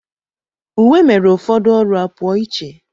Uwe mere ụfọdụ ọrụ a pụọ iche.